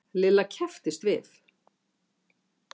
Lilla kepptist við.